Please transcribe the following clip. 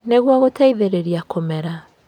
Nĩguo gũteithĩrĩria kũmera